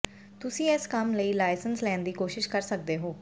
ਤੁਸੀਂ ਇਸ ਕੰਮ ਲਈ ਲਾਇਸੈਂਸ ਲੈਣ ਦੀ ਕੋਸ਼ਿਸ਼ ਕਰ ਸਕਦੇ ਹੋ